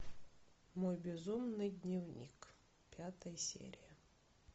мой безумный дневник пятая серия